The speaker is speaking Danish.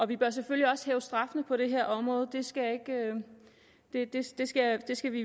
vi bør selvfølgelig også hæve straffene på det her område det det skal skal vi